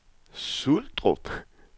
Suldrup